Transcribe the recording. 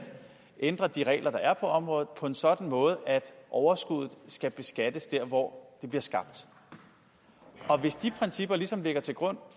ændre de regler der er på området på en sådan måde at overskuddet skal beskattes der hvor det bliver skabt og hvis de principper ligesom lægger til grund